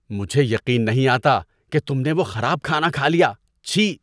مجھے یقین نہیں آتا کہ تم نے وہ خراب کھانا کھا لیا۔ چھی!